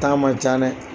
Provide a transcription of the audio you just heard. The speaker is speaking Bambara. Taa man ca dɛ